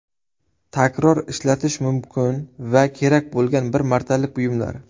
Takror ishlatish mumkin va kerak bo‘lgan bir martalik buyumlar.